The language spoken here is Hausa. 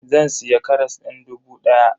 Zan siya karas din dubu daya.